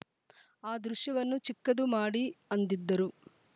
ಆ ದೃಶ್ಯವನ್ನು ಚಿಕ್ಕದು ಮಾಡಿ ಅಂದಿದ್ದರು